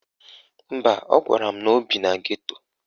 Mba, ọ gwara m na o bi na geto.